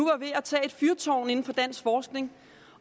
er ved at tage et fyrtårn inden for dansk forskning